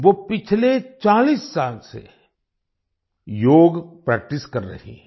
वो पिछले 40 साल से योग प्रैक्टिस कर रही हैं